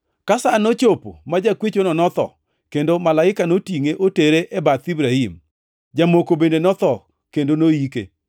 “Sa nochopo ma jakwechono notho kendo malaika notingʼe, otere e bath Ibrahim. Jamoko bende notho kendo noyike.